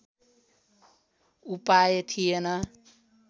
उपाय थिएन